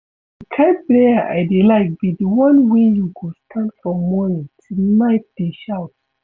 The kin prayer I dey like be the one wey you go stand from morning till night dey shout